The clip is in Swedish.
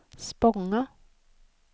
Spånga